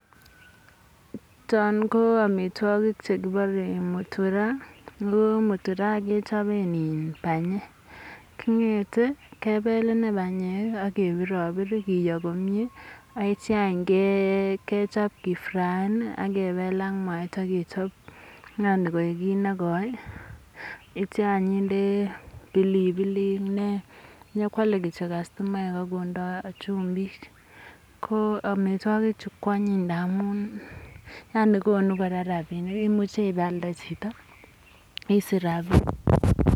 Choon ko amitwokik chekibore muturaa, AK ko mutura kechoben IIN banyek, king'ete kebel ineii banyek ak kebirobir kiyoo komnye ak kityo kechop kii fraen ak kebel ak mwaita kechop yaani koik kinekoi akityo indee any pilipilik nee, inyokwole kityok kastomayat ak kondoi chumbik, ko amitwokichu kwonyin ndamun yaani konu kora rabinik, imuche ibeialde chito akisich rabinik.